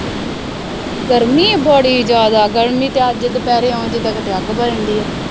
ਗਰਮੀ ਬੜੀ ਜ਼ਿਆਦਾ, ਗਰਮੀ ਤਾਂ ਅੱਜ ਦੁਪਹਿਰੇ ਇਉਂ ਜਿਦਾਂ ਕਿਤੇ ਅੱਗ ਵਰਨ ਡੀ ਹੈ